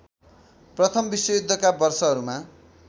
प्रथम विश्वयुद्धका वर्षहरूमा